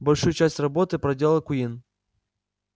большую часть работы проделал куинн